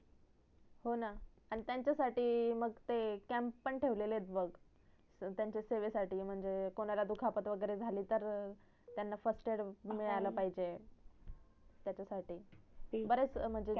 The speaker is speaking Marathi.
होणा आणि त्यांचा साठि मग ते camp पण ठेवले आहेत बग त्यांच्या सेवेसाठी कोणाला दुखापत झाली तर त्यांना firstaid मिडाळ पाहीजे त्याच्या साठी बरेच म्हणजे